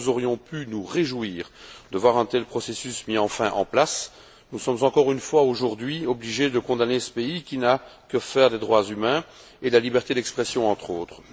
Là où nous aurions pu nous réjouir de voir un tel processus enfin mis en place, nous sommes encore une fois aujourd'hui obligés de condamner ce pays, qui n'a que faire des droits humains et de la liberté d'expression, entre autres.